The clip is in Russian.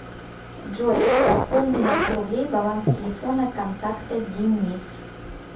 джой пополни на сто рублей баланс телефона контакта денис